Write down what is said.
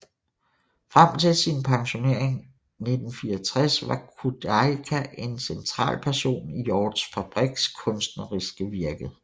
Frem til sin pensionering 1964 var Kudielka en central person i Hjorths Fabriks kunstneriske virke